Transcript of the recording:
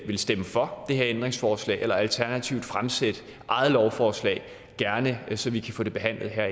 vil stemme for et ændringsforslag alternativt vil fremsætte eget lovforslag og gerne det så vi kan få det behandlet